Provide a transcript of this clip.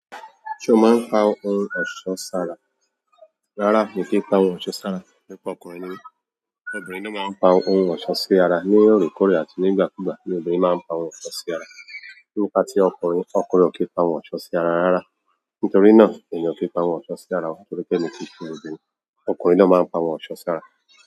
Ṣé o máa ń pa ohun ọ̀ṣọ́ sára? Rárá, mi kì í n pa ohun ọ̀ṣọ́ sára. Nípa ọkùnrin ni mi. Obìnrin ló máa ń pa ohun ọ̀ṣọ́ sí ara. Ní òorekoọrẹ̀ àti ní ìgbà kú ìgbà ni obìnrin máa ń pa ohun ọ̀ṣọ́ sí ara. Nípa tí ọkùnrin, ọkùnrin ò kí n pa ohun ọ̀ṣọ́ sí ara rárá. Nítorí náà, emi ò kí n pa ohun ọ̀ṣọ́ sí ara. Nítorí pé èmi ki ṣe obìnrin, ọkùnrin náà máa ń pa ohun ọ̀ṣọ́ sí ara.